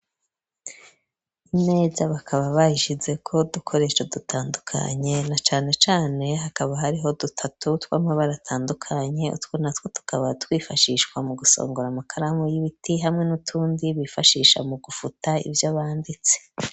Imeza, bakaba bayishize ko dukoresho dutandukanye, na cane cane hakaba hariho dutatu tw'amabara atandukanye, utwo na two tukaba twifashishwa mu gusongora amakaramu y'ibiti ,hamwe n'utundi bifashisha mu gufuta ivyo banditse.